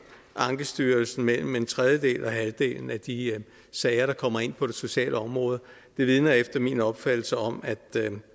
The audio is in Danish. ankestyrelsen mellem en tredjedel og halvdelen af de sager der kommer ind på det sociale område det vidner efter min opfattelse om at